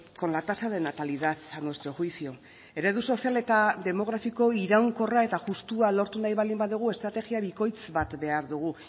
con la tasa de natalidad a nuestro juicio eredu sozial eta demografiko iraunkorra eta justua lortu nahi baldin badugu estrategia bikoitz bat behar dugu